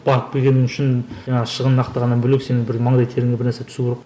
барып келгенің үшін жаңағы шығынын ақтағаннан бөлек сенің маңдай теріңе бір нәрсе түсу керек